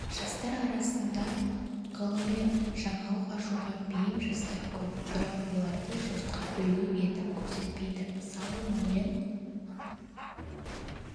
жастар арасында ғылыми жаңалық ашуға бейім жастар көп бірақ оларды жұртқа үлгі етіп көрсетпейді мысалы мәулен